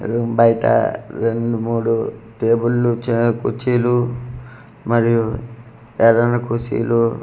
Room బయట రెండు మూడు టేబల్లు చే కుర్చీలు మరియు ఎర్రన్న కుర్చీలు ఒక.